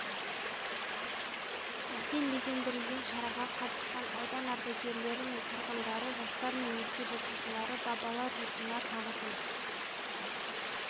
әсем безендірілген шараға қатысқан аудан ардагерлері мен тұрғындары жастар мен мектеп оқушылары бабалар рухына тағызым